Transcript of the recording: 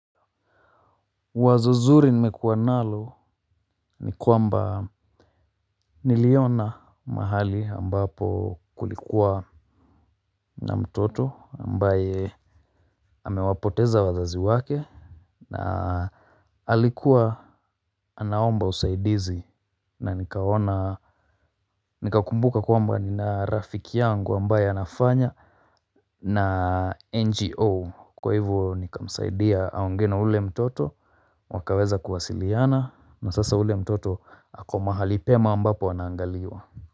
Wazo zuri nimekuwa nalo ni kwamba niliona mahali ambapo kulikuwa na mtoto ambaye amewapoteza wazazi wake na alikuwa anaomba usaidizi na nikaona nikakumbuka kwamba nina rafiki yangu ambaye anafanya na NGO kwa hivyo nikamsaidia aongee na ule mtoto wakaweza kuwasiliana na sasa ule mtoto ako mahali pema ambapo anaangaliwa.